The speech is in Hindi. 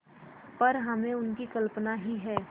पर हमने उनकी कल्पना ही है